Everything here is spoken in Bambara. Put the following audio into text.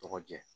Tɔgɔ jɛ